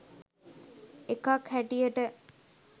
එකක් හැටියට.